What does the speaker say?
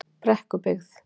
Brekkubyggð